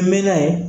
N mɛn na yen